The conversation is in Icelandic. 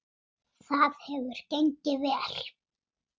Það hefur gengið vel.